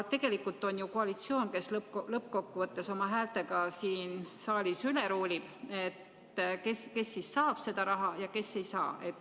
Tegelikult on koalitsioon see, kes lõppkokkuvõttes oma häältega siin saalist üle ruulib, kes siis saab seda raha ja kes ei saa.